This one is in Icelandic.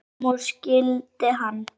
Fram úr skyldi hann.